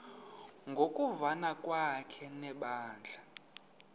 ngokuvana kwakhe nebandla